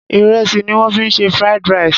Ìrẹsì ni wọ́n fi se Fried rice.